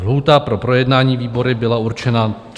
Lhůta pro projednání výbory byla určena 30 dní.